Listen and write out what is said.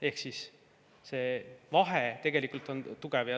Ehk see vahe on.